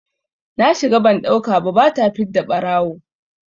Na shiga ban ɗauka ba, ba ta fidda ɓarawo!